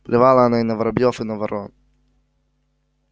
плевала она и на воробьёв и на ворон